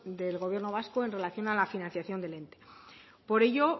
del gobierno vasco en relación a la financiación del ente por ello